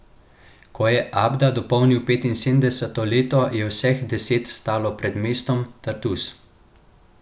Ko je Abda dopolnil petinosemdeseto leto, je vseh deset stalo pred mestom Tartus.